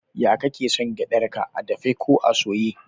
Ya kake son gyadar ka, a dafe ko a soye?